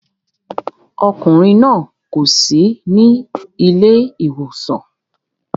Ọkùnrin náà kò sí ní ilé ìwòsàn